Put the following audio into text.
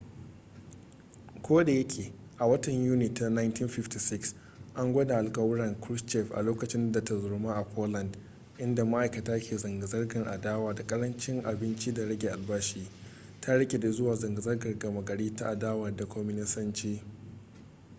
ko da yake a watan yuni ta 1956 an gwada alkawuran krushchev a lokacin da tarzoma a poland inda ma'aikata ke zanga-zangar adawa da ƙarancin abinci da rage albashi ta rikide zuwa zanga-zangar gama gari ta adawa da kwaminisanci